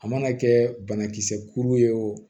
A mana kɛ banakisɛ kuru ye o